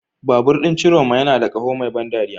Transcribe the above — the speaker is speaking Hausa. Babur ɗin Ciroma yana da ƙaho mai ban dariya.